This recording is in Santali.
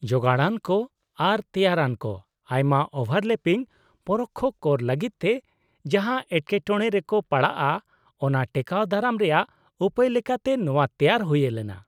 -ᱡᱳᱜᱟᱲᱟᱱᱠᱚ ᱟᱨ ᱛᱮᱭᱟᱨᱟᱱᱠᱚ ᱟᱭᱢᱟ ᱳᱵᱷᱟᱨᱞᱮᱯᱤᱝ ᱯᱚᱨᱳᱠᱠᱷᱚ ᱠᱚᱨ ᱞᱟᱹᱜᱤᱫᱛᱮ ᱡᱟᱦᱟᱸ ᱮᱴᱠᱮᱴᱚᱲᱮ ᱨᱮᱠᱚ ᱯᱟᱲᱟᱜᱼᱟ ᱚᱱᱟ ᱴᱮᱠᱟᱹᱣ ᱫᱟᱨᱟᱢ ᱨᱮᱭᱟᱜ ᱩᱯᱟᱹᱭ ᱞᱮᱠᱟᱛᱮ ᱱᱚᱶᱟ ᱛᱮᱭᱟᱨ ᱦᱩᱭᱞᱮᱱᱟ ᱾